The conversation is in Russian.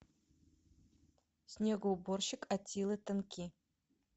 снегоуборщик аттилы тенки